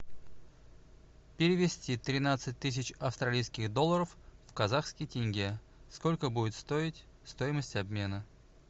перевести тринадцать тысяч австралийских долларов в казахский тенге сколько будет стоить стоимость обмена